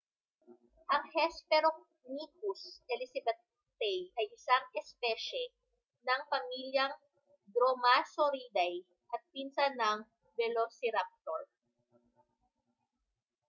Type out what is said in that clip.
ang hesperonychus elizabethae ay isang espesye ng pamilyang dromaeosauridae at pinsan ng velociraptor